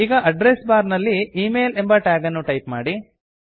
ಈಗ address bar ನಲ್ಲಿ email ಎಂಬ ಟ್ಯಾಗನ್ನು ಟೈಪ್ ಮಾಡಿ